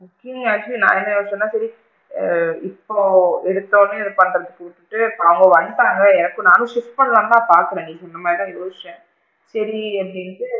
See actually நாங்க என்ன யோசிச்சோம்னா ஆ இப்போ எடுத்தவுடனே இது பண்றதுக்கு அவுங்க வந்தாங்க எனக்கும் நானும் skip பண்ணலாம்னு தான் பாக்குறேன் நானும் இந்த மாதிரி தான் யோசிச்சேன் சேரி அப்படின்ட்டு,